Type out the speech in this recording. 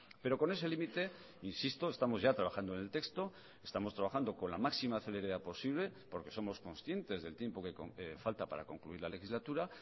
pero con ese límite insisto estamos ya trabajando en el texto estamos trabajando con la máxima celeridad posible porque somos conscientes del tiempo que falta para concluir la legislatura